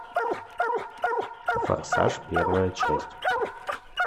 форсаж первая часть